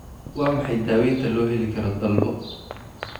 Waa maxay daawaynta loo heli karo dalbo?